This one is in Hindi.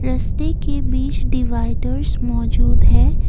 रस्ते के बीच डिवाइडर्स मौजूद हैं।